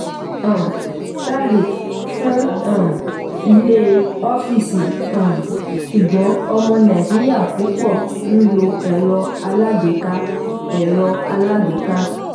um starlink fún um ilé/ọ́fíìsì um ṣùgbọ́n ọmọ nàìjíríà púpọ̀ n lo ẹ̀rọ alágbèéká. ẹ̀rọ alágbèéká.